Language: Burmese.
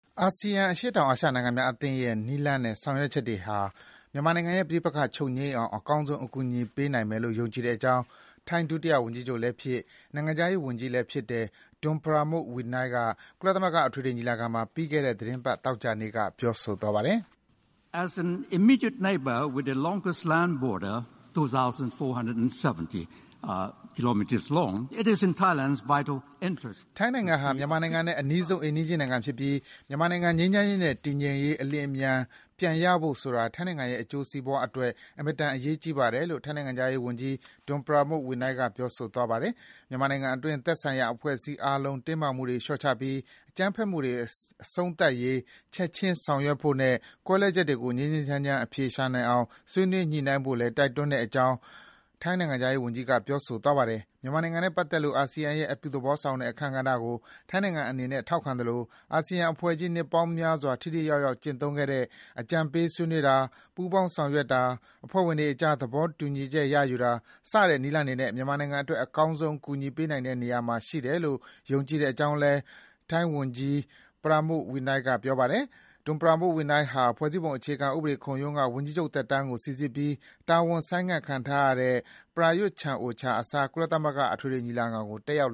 အာဆီယံ အရှေ့တောင်အာရှနိုင်ငံများအသင်းရဲ့နည်းလမ်းနဲ့ ဆောင်ရွက်ချက်တွေဟာ မြန်မာ့နိုင်ငံရဲ့ပဋိပက္ခတွေ ချုပ်ငြိမ်းအောင် အကောင်းဆုံး အကူအညီပေးနိုင်မယ်လို့ ယုံကြည်ကြောင်း ထိုင်း ဒုတိယဝန်ကြီးချုပ်လည်းဖြစ်၊ နိုင်ငံခြားရေး ဝန်ကြီးလည်းဖြစ်တဲ့ Don Pramudwinai က ကုလသမဂ္ဂအထွေထွေညီလာခံမှာ ပြီးခဲ့တဲ့ သီတင်းပတ် သောကြာနေ့က ပြောဆိုသွားပါတယ်။ ထိုင်းနိုင်ငံဟာ မြန်မာနိုင်ငံနဲ့အနီးဆုံး အိမ်နီးချင်းနိုင်ငံဖြစ်ပြီး မြန်မာနိုင်ငံ ငြိမ်းချမ်းရေးနဲ့တည်ငြိမ်ရေး အလျင်အမြန်ပြန်ရဖို့ဆိုတာ ထိုင်းနိုင်ငံရဲ့အကျိုးစီးပွားအတွက် အင်မတန်အရေးကြီးပါတယ်လို့ ထိုင်းနိုင်ငံခြားရေးဝန်ကြီး Don Pramudwinai ပြောဆိုသွားပါတယ်။ မြန်မာနိုင်ငံအတွင်း သက်ဆိုင်ရာအဖွဲ့အစည်းအားလုံး တင်းမာမှုတွေ လျှော့ချပြီး အကြမ်းဖက်မှုတွေအဆုံးသတ်ရေး ချက်ခြင်းဆောင်ရွက်ဖို့နဲ့ ကွဲလွဲချက်တွေကို ငြိမ်းငြိမ်းချမ်းချမ်း အဖြေရှာနိုင်အောင် ဆွေးနွေးညှိနှိုင်းဖို့လည်း တိုက်တွန်းကြောင်းလည်း ထိုင်းနိုင်ငံခြားရေးဝန်ကြီးက ပြောသွားပါတယ်။ မြန်မာနိုင်ငံနဲ့ပတ်သက်လို့ အာဆီယံရဲ့အပြုသဘောဆောင်တဲ့ အခန်းကဏ္ဍကို ထိုင်းနိုင်ငံအနေနဲ့ ထောက်ခံသလို အာဆီယံအဖွဲ့ကြီး နှစ်ပေါင်းများစွာ ထိထိရောက်ရောက် ကျင့်သုံးခဲ့တဲ့ အကြံပေးဆွေးနွေးတာ၊ ပူးပေါင်းဆောင်ရွက်တာ၊ အဖွဲ့ဝင်တွေကြား သဘောတူညီချက်ရယူတာ စတဲ့နည်းလမ်းတွေနဲ့ မြန်မာနိုင်ငံအတွက် အကောင်းဆုံးကူညီပေးနိုင်တဲ့နေရာမှာ ရှိတယ်လို့ယုံကြည်တဲ့အကြောင်းလည်း ထိုင်း ဒုတိယဝန်ကြီးချုပ်လည်းဖြစ်၊ နိုင်ငံခြားရေးဝန်ကြီးလည်းဖြစ်တဲ့ Don Pramudwinai က ပြောခဲ့ပါတယ်။ Don Pramudwinai ဟာ ဖွဲ့စည်းပုံအခြေခံဥပဒေ ခုံရုံးက ဝန်ကြီးချုပ်သက်တမ်းကို စီစစ်ပြီး တာဝန် ဆိုင်းငံခံထားရတဲ့ Prayuth Chan-ocha အစား ကုလသမဂ္ဂ အထွေထွေညီလာခံကို တက်ရောက်